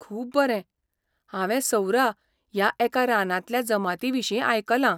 खूब बरें! हांवें सौरा ह्या एका रानांतल्या जमाती विशींयआयकलां.